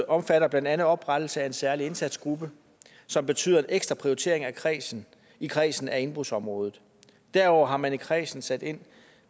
omfatter blandt andet oprettelse af en særlig indsatsgruppe som betyder en ekstra prioritering i kredsen i kredsen af indbrudsområdet derudover har man i kredsen sat ind